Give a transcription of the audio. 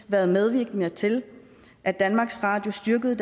været medvirkende til at danmarks radio styrkede